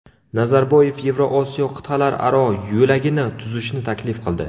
Nazarboyev Yevroosiyo qit’alararo yo‘lagini tuzishni taklif qildi.